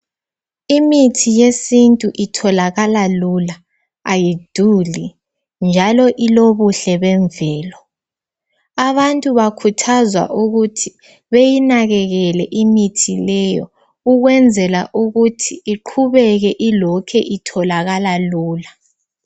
Imithi yesintu itholakala lula ayiduli njalo ilobuhle bemvelo. Abantu bakhuthazwa ukuthi beyinakekele imithi leyo ikwenzela ukuthi ilokhe itholokala lula .